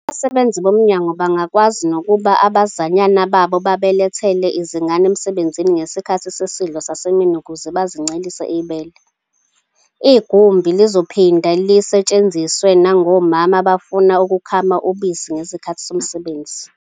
Abasebenzi bomnyango bangakwazi nokuba abazanyana babo babalethele izingane emsebenzini ngesikhathi sesidlo sasemini ukuze bazincelise ibele. Igumbi lizophinde lisetshenziswe nangomama abafuna ukukhama ubisi ngesikhathi somsebenzi.